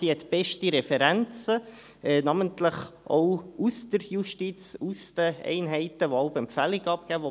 Sie hat beste Referenzen, namentlich auch aus der Justiz, aus den Einheiten, die jeweils Empfehlungen abgeben;